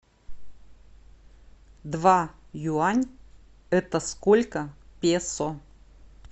два юань это сколько песо